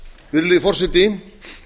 virðulegi forseti